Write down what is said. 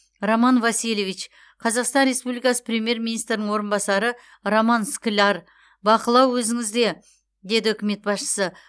роман васильевич қазақстан республикасы премьер министрінің орынбасары роман скляр бақылау өзіңізде деді үкімет басшысы